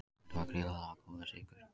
Þetta var gríðarlega góður sigur